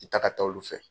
I taga taa olu fɛ